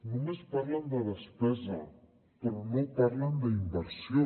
només parlen de despesa però no parlen d’inversió